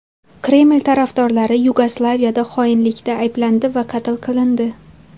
Kreml tarafdorlari Yugoslaviyada xoinlikda ayblandi va qatl qilindi.